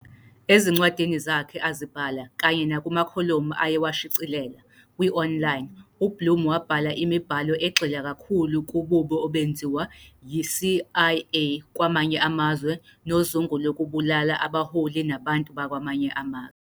Ezincwadini zakhe azibhala kanye nakumakholomu ayewashicilela kwi-online, uBlum wabhala imibhalo egxila kakhulu kububi obenziwa yi-CIA kwamanye amazwe nozungu lokubulala abaholi nabantu bakwamanye amazwe.